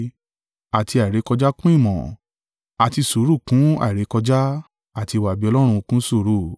àti àìrékọjá kún ìmọ̀; àti sùúrù kún àìrékọjá; àti ìwà-bí-Ọlọ́run kún sùúrù.